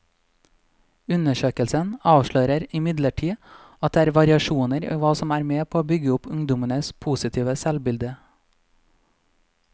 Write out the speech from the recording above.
Undersøkelsen avslører imidlertid at det er variasjoner i hva som er med på å bygge opp ungdommenes positive selvbilde.